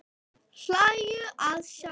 Hlæja að sjálfum sér.